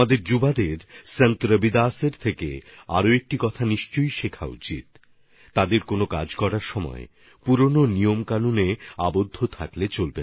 আমাদের যুববন্ধুদের সন্ত রবিদাসজির কাছ থেকে আরও একটা কথা অবশ্যই শিখতে হবে নবীন প্রজন্মকে যে কোন কাজ করার জন্য নিজেদের পুরনো পন্থাপদ্ধতির মধ্যে বেঁধে রাখলে চলবে না